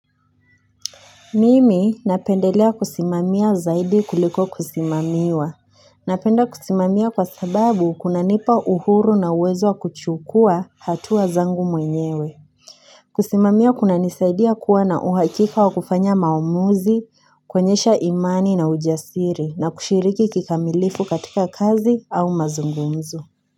Mimi, napendelea kusimamia zaidi kuliko kusimamiwa. Napenda kusimamia kwa sababu, kunanipa uhuru na uwezo wa kuchukua hatua zangu mwenyewe. Kusimamia kunanisaidia kuwa na uhakika wa kufanya maamuzi, kwuonyesha imani na ujasiri na kushiriki kikamilifu katika kazi au mazungumzo.